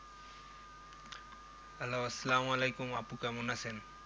Hello সালামালেকুম আপু কেমন আছেন?